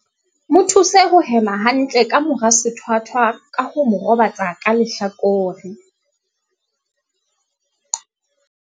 Mo thuse ho hema hantle ka mora sethwathwa ka ho mo robatsa ka lehlakore.